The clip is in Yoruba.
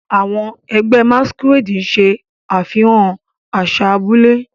Àwọn ẹgbẹ́ Masquerade ṣe àfihàn àṣà abúlé.